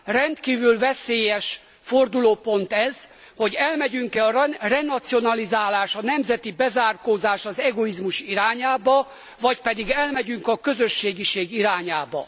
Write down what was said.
Rendkívül veszélyes fordulópont ez, hogy elmegyünk e a renacionalizálás, a nemzeti bezárkózás, az egoizmus irányába vagy pedig elmegyünk a közösségiség irányába.